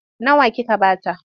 Nawa kika ba ta?